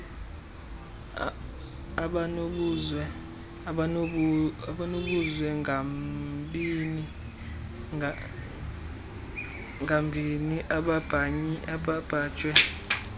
abanobuzwe ngambini ababanjwe